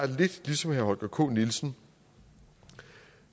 lidt ligesom herre holger k nielsen